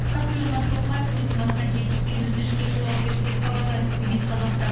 қасым жомарт тоқаев өзінің атына келіп түскен өтінішке жауап берді деп хабарлайды спутник қазақстан